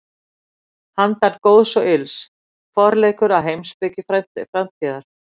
Handan góðs og ills: Forleikur að heimspeki framtíðar.